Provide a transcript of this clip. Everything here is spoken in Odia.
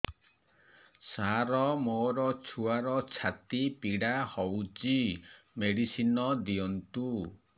ସାର ମୋର ଛୁଆର ଛାତି ପୀଡା ହଉଚି ମେଡିସିନ ଦିଅନ୍ତୁ